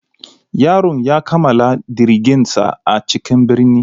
Yaron ya kammala digirinsa a cikin birni.